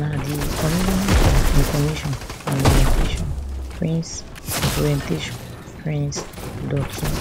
na di commissioner for information and orientation prince orientation prince dotun